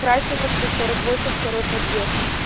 красина сто сорок восемь второй подъезд